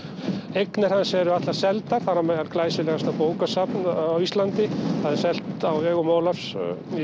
eignir hans eru allar seldar þar á meðal glæsilegasta bókasafn á Íslandi það er selt á vegum Ólafs